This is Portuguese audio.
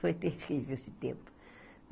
Foi terrível esse tempo.